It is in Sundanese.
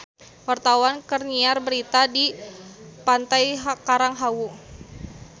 Wartawan keur nyiar berita di Pantai Karang Hawu